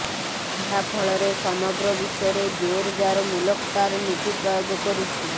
ଏହା ଫଳରେ ସମଗ୍ର ବିଶ୍ୱରେ ଜୋରଯାର ମୁଲକ ତାର ନୀତି ପ୍ରୟୋଗ କରୁଛି